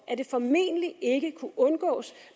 at det formentlig ikke kunne undgås